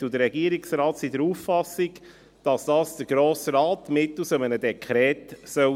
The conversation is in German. Die Kommissionsmehrheit und der Regierungsrat sind der Auffassung, dass dies der Grosse Rat sein soll, mittels eines Dekrets.